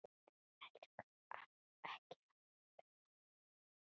Ekki amaleg meðmæli það.